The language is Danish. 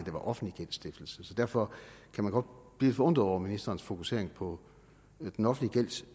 det var offentlig gældsstiftelse derfor kan man godt blive forundret over ministerens fokusering på den offentlige